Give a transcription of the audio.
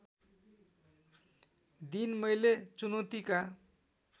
दिन मैले चुनौतीका